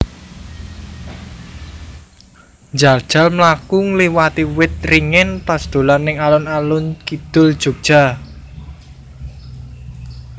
Njajal mlaku ngliwati wit ringin pas dolan ning alun alun kidul Jogja